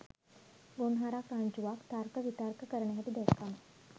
ගොන්හරක් රංචුවක් තර්ක විතර්ක කරන හැටි දැක්කම